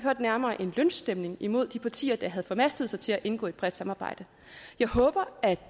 nærmere en lynchstemning imod de partier der havde formastet sig til at indgå i et bredt samarbejde jeg håber at